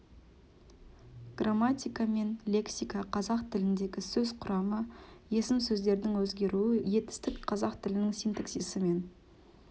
грамматика мен лексика қазақ тіліндегі сөз құрамы есім сөздердің өзгеруі етістік қазақ тілінің синтаксисі мен